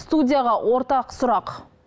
студияға ортақ сұрақ